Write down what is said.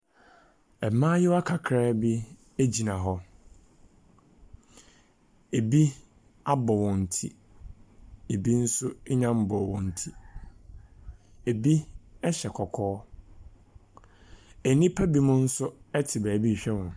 Ɛmaayewa kakraabi egyina hɔ, ebi abɔ wɔn ti, ebi nso enya mbɔɔ wɔn ti, ebi ɛhyɛ kɔkɔɔ, enipa bimo. Nso ɛte baabi hwɛ wɔn.